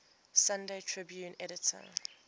sunday tribune editor